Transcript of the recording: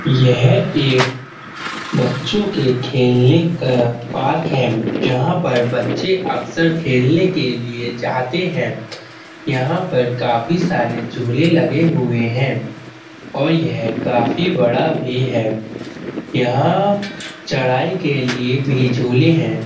यह एक बच्चों के खेलने का पार्क है। जहां पर बच्चे अक्सर खेलने के लिए जाते हैं। यहाँ पर काफी सारे झूले भी लगे हैं। और यह काफी बड़ा भी है। यहाँ चढ़ाई के लिए भी झूले हैं।